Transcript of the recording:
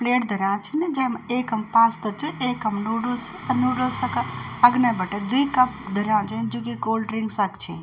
प्लेट धर्या छिन जैमा एकम पास्ता च एकम नूडलस च अर नूडलसो का अग्ने बटै द्वि कप धर्या छिन जु कि कोल्ड ड्रिंक्सकसा क छिन।